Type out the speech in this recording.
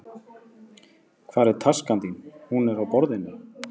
Hvar er taskan þín? Hún er á borðinu.